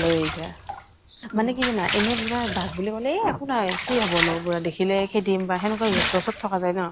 লৈ আহিছে। মানে কি জানা এনে পুৰা বাঘ বুলি কলে এই একো নহয়, কি হব নো। দেখিলে খেদিম বা সেনেকুৱা জচ্ জচত থ্কা যায় ন?